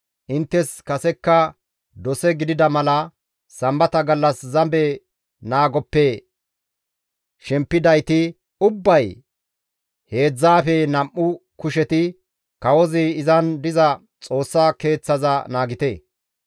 Inttes kasekka dose gidida mala sambata gallas zabe naagoppe shempidayti ubbay heedzdzaafe nam7u kusheti kawozi izan diza Xoossa Keeththaza naagite.